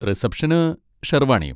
റിസപ്ഷന് ഷെർവാണിയും.